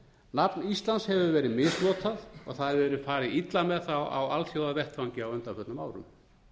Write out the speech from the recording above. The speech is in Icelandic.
nafn íslands hefur verið misnotað og það hefur verið farið illa með það á alþjóðavettvangi á undanförnum árum